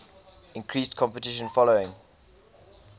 increased competition following